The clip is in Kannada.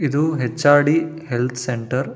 ಇದು H R D health centre .